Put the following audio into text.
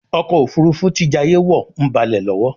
ọkọ̀ òfurufú tí jayé wọ ń balè lówó.